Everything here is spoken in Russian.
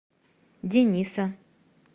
дениса